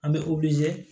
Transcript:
An bɛ